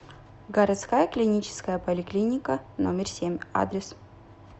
городская клиническая поликлиника номер семь адрес